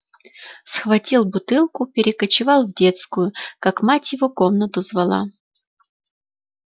схватил бутылку перекочевал в детскую как мать его комнату звала